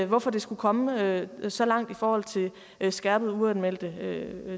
hvorfor det skulle komme så langt i forhold til skærpede uanmeldte